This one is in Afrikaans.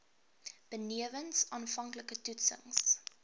benewens aanvanklike toetsings